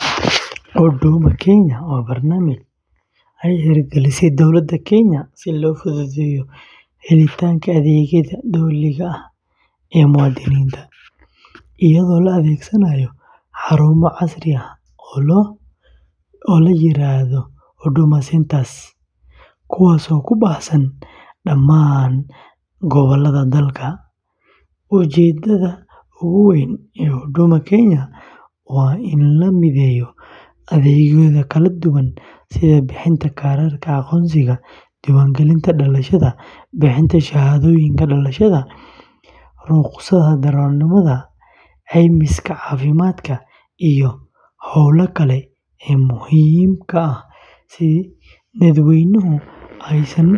Huduma Kenya waa barnaamij uu hirgeliyey dowladda Kenya si loo fududeeyo helitaanka adeegyada dowliga ah ee muwaadiniinta, iyadoo la adeegsanayo xarumo casri ah oo la yiraahdo Huduma Centres, kuwaasoo ku baahsan dhammaan gobollada dalka. Ujeeddada ugu weyn ee Huduma Kenya waa in la mideeyo adeegyo kala duwan sida bixinta kaararka aqoonsiga, diiwaangelinta dhalashada, bixinta shahaadooyinka dhalashada, rukhsadaha darawalnimada, caymiska caafimaadka, iyo hawlaha kale ee muhiimka ah si dadweynuhu aysan